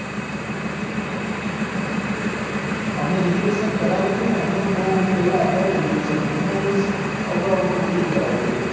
અમે reservation કરાવ્યું હતું ને અમે તો બહુ પેહેલા અગાઉ reservation મહિના દિવસ અગાઉ અમે booking કરાવી દીધું હતું